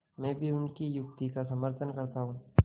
मैं भी उनकी युक्ति का समर्थन करता हूँ